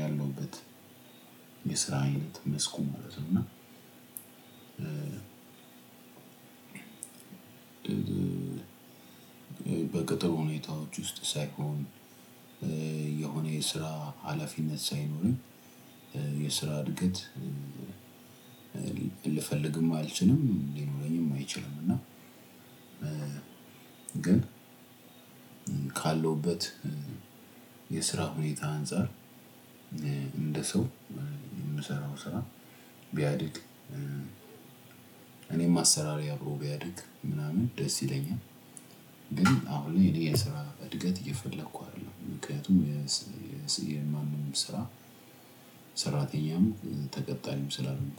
ያለሁበት የስራ አይነት መስኩ ማለት ነው። እና እና በቅጥር ሁኔታዎች ውስጥ ሳይሆን የሆነ የስራ አለፊነት ሳይኖር የስራ እድገት ልፈልግም አልችልም ሊኖረኝም አይችልም። እና ግን ካለሁበት የስራ ሁኔታ አንፃር እንደ ሰው ምሰራው ስራ ቢያድግ እኔም አሰራሬ አብሮ ቢያድግ ምናምን ደስ ይለኛል። ግን አሁን እኔ የስራ እድገት እየፈለኩ አይደለም ምክኒያቱም የስ የስ የማንም ስራ ሰራተኛም ተቀጣሪም ስላልሆንኩ